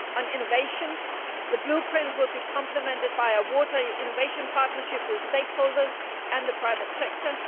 on innovation, the Blueprint will be complemented by a Water Innovation Partnership with stakeholders and the private sector.